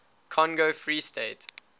congo free state